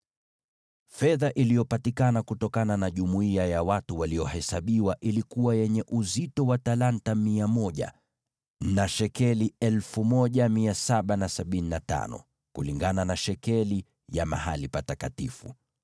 Fedha iliyopatikana kutokana na jumuiya ya watu waliohesabiwa ilikuwa yenye uzito wa talanta mia moja na shekeli 1,775, kulingana na shekeli ya mahali patakatifu.